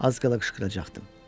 Az qala qışqıracaqdı.